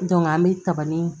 an bɛ tabani